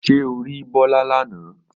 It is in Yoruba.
Ṣé o rí Bọ́lá lánàá?